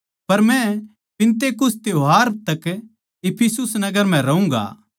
पर मै पिन्तेकुस्त त्यौहार तक इफिसुस नगर म्ह रहूँगा